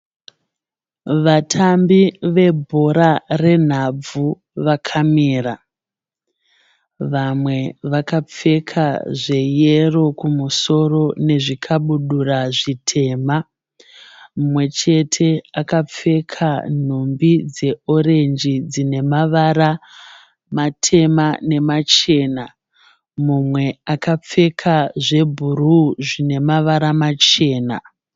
Vatambi vebhora renhabvu vakamira. Vamwe vakapfeka zveyero kumusoro nezvikabudura zvitema. Mumwe chete akapfeka nhumbi dzeorenji dzine mavara matema nemachena. Mumwe akapfeka zvebhuruu namavara machena.